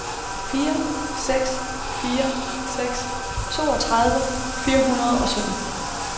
fire seks fire seks toogtredive fire hundrede og sytten